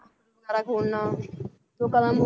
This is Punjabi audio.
ਖੋਲਣਾ ਲੋਕਾਂ ਦਾ